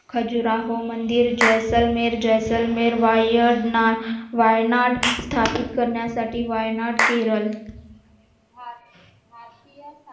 खजरा हो मंदिर जैसलमेर जैसलमेर वायनात स्थापित करण्यासाठी वायनात केरळ